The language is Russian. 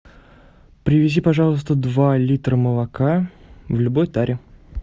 привези пожалуйста два литра молока в любой таре